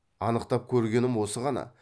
анықтап көргенім осы ғана